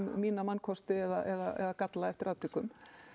mína mannkosti eða galla eftir atvikum